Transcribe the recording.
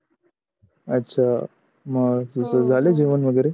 अच्छा मग तुझ झाल आहे जेवण वगेरे?